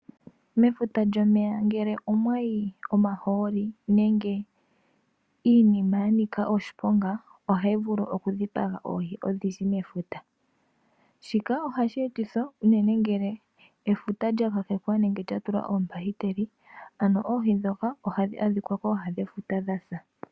Mefuta lyomeya ngele omwayi omahooli nenge iinima ya nika oshiponga ohayi vulu oku dhipaga oohi odhindji mefuta. Shika ohashi etithwa unene ngeleefuta lya kakekwa nenge lya tulwa oombakiteli. Ano oohi dhoka ohadhi adhika kooha dhefuta dhasa.